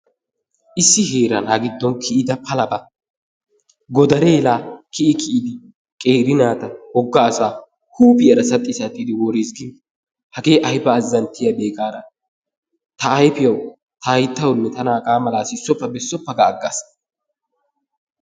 Issi heeran ha giddon kiyida palaba godaree laa kiyi kiyidi qeeri naata woga asaa huuphiyara saxxi saxxidi woriis giida. Hagee aybba azzanttiyabee gaada ta ayfiyawu ta hayttawunne tana hagaa mala sissoppa bessoppa ga agaas.